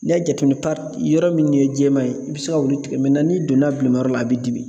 N'i y'a jateminɛ yɔrɔ min ye jɛman ye i bɛ se ka olu i tigɛ n'i donna bilimayɔrɔ la, a b'i dimi.